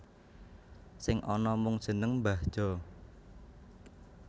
Sing ana mung jeneng Mbah Jo